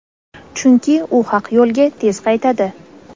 Chunki u haq yo‘lga tez qaytadi.